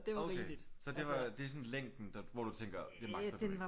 Okay så det var det er sådan længden der hvor du tænker det magter du ikke?